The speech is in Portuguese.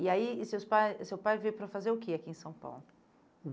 E aí, e seus pa seu pai veio para fazer o que aqui em São Paulo?